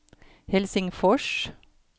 Helsingfors